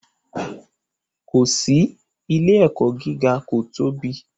Ko si, ile-ẹkọ giga ko tobi